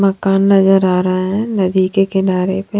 मकान नजर आ रहा है नदी के किनारे पे।